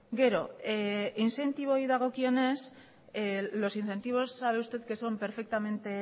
los incentivos sabe usted que son perfectamente